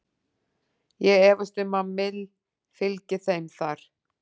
Ég efast um að Mill fylgi þeim þar.